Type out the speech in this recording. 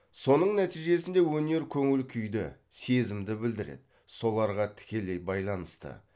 соның нәтижесінде өнер көңіл күйді сезімді білдіреді соларға тікелей байланысты